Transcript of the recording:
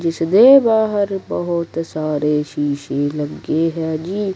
ਜਿੱਸ ਦੇ ਬਾਹਰ ਬੋਹੁਤ ਸਾਰੇ ਸ਼ੀਸ਼ੇ ਲੱਗੇ ਹੈ ਜੀ।